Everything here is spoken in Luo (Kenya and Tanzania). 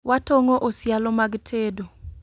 Watong'o osialo mag tedo